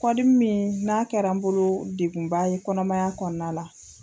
Kɔdimi min n'a kɛra n bolo degunba ye kɔnɔmaya kɔnɔna la